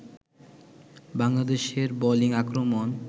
বাংলাদেশের বোলিং আক্রমণ